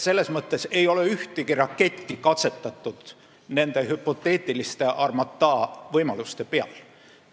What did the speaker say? Selles mõttes ei ole ühtegi raketti nende hüpoteetiliste Armata võimaluste peal katsetatud.